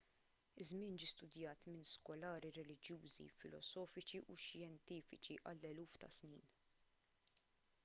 iż-żmien ġie studajt minn skolari reliġjużi filosofiċi u xjentifiċi għal eluf ta' snin